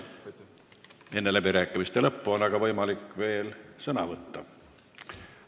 Enne läbirääkimiste lõppu on teil võimalik veel sõna võtta.